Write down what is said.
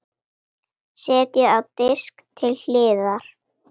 Setjið á disk til hliðar.